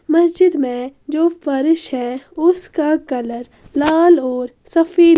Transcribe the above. मस्जिद में जो फर्श है उसका कलर लाल और सफेद--